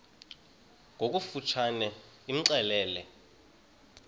ngokofu tshane imxelele